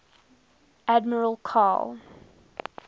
admiral karl